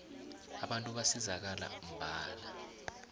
abantu basizakala mbala